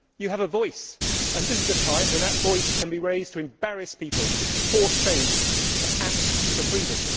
you have a voice, and this is a time when that voice can be raised to embarrass people, to force change, to act for freedom.